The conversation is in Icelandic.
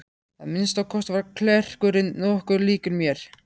Að minnsta kosti var klerkurinn nokkuð líkur mér.